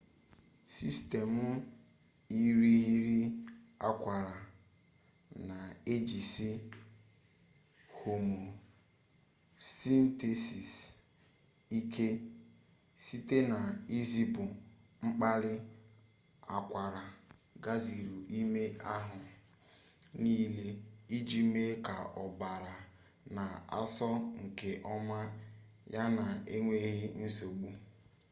sistemụ irighiri akwara na-ejisi homeostasis ike site na izipu mkpali akwara gazuru ime ahụ niile iji mee ka ọbara na-asọ nke ọma yana enweghi nsogbu